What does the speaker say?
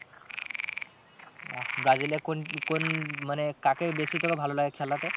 আহ brazil এ কোন, কোন মানে কাকে বেশি তোকে ভালো লাগে খেলাতে?